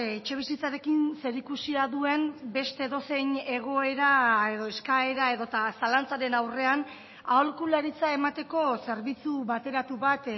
etxebizitzarekin zerikusia duen beste edozein egoera edo eskaera edota zalantzaren aurrean aholkularitza emateko zerbitzu bateratu bat